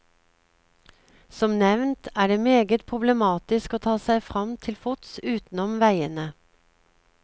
Som nevnt er det meget problematisk å ta seg fram til fots utenom vegene.